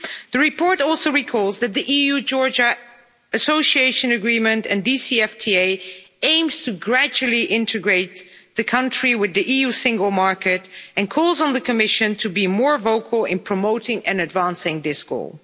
The report also recalls that the EU Georgia Association Agreement and ECFTA aims to gradually integrate the country with the EU single market and calls on the Commission to be more vocal in promoting and advancing this goal.